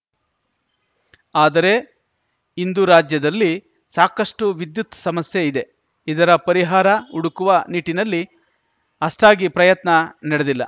ಆದರೆ ಇಂದು ರಾಜ್ಯದಲ್ಲಿ ಸಾಕಷ್ಟುವಿದ್ಯುತ್‌ ಸಮಸ್ಯೆ ಇದೆ ಇದರ ಪರಿಹಾರ ಹುಡುಕುವ ನಿಟ್ಟಿನಲ್ಲಿ ಅಷ್ಟಾಗಿ ಪ್ರಯತ್ನ ನಡೆದಿಲ್ಲ